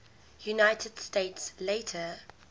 united states later